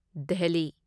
Delhi